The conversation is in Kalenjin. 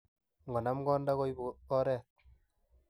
Ngo nam konda koibu koret.